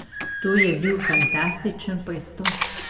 To bi bil fantastičen prestop.